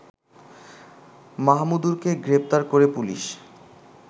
মাহমুদুরকে গ্রেপ্তার করে পুলিশ